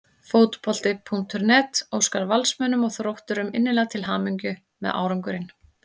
Fótbolti.net óskar Valsmönnum og Þrótturum innilega til hamingju með árangurinn.